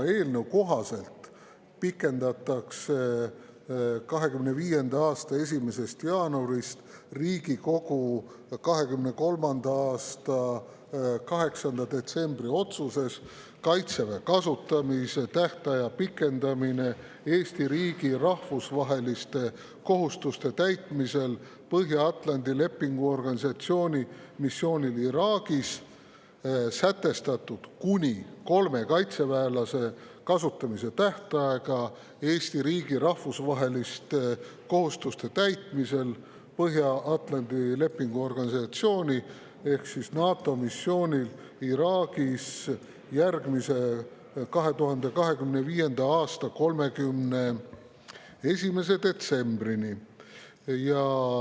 Eelnõu kohaselt pikendatakse 2025. aasta 1. jaanuarist Riigikogu 2023. aasta 8. detsembri otsuses "Kaitseväe kasutamise tähtaja pikendamine Eesti riigi rahvusvaheliste kohustuste täitmisel Põhja-Atlandi Lepingu Organisatsiooni missioonil Iraagis" sätestatud kuni kolme kaitseväelase kasutamise tähtaega Eesti riigi rahvusvaheliste kohustuste täitmisel Põhja-Atlandi Lepingu Organisatsiooni ehk NATO missioonil Iraagis järgmise, 2025. aasta 31. detsembrini.